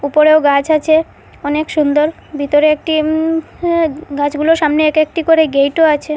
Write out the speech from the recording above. উপরেও গাছ আছে অনেক সুন্দর ভিতরে একটি উ এ্যা গাছগুলোর সামনে এক একটি করে গেটও আছে।